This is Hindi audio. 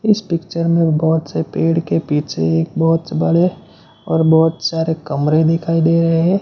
इस पिक्चर में बहोत से पेड़ के पीछे एक बहोत से बड़े और बहोत सारे कमरे दिखाई दे रहें हैं।